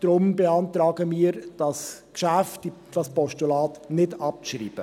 Deshalb beantragen wir, dieses Geschäft, dieses Postulat nicht abzuschreiben.